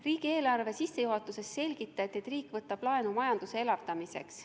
Riigieelarve sissejuhatuses selgitati, et riik võtab laenu majanduse elavdamiseks.